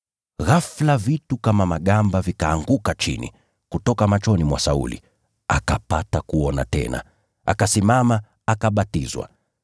Ghafula vitu kama magamba vikaanguka chini, kutoka machoni mwa Sauli, akapata kuona tena. Akasimama, akabatizwa.